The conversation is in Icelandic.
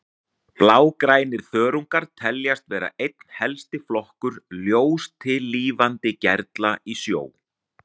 Blágrænir þörungar teljast vera einn helsti flokkur ljóstillífandi gerla í sjó.